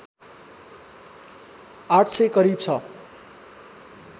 ८०० करिब छ